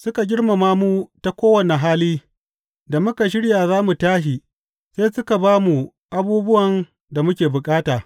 Suka girmama mu ta kowane hali da muka shirya za mu tashi, sai suka ba mu abubuwan da muke bukata.